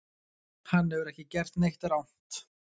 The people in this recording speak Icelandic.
Hann hefur ekki gert neitt rangt